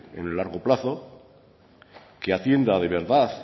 en el largo plazo que atienda de verdad